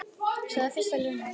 Sagði það í fyrstu við Lenu.